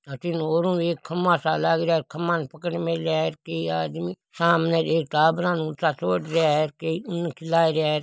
अठीने ओरु एक खम्बा सा लाग रहिया है खम्बा ने पकड़ मेल्या है कई आदमी सामने एक टाबरा ने ऊँचा चाड रिया है कई उन खिला रिया है।